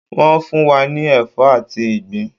Wọ́n fún wa ní ẹ̀fọ́ àti ìgbín